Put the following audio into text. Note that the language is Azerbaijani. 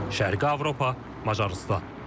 Şərqi Avropa, Macarıstan.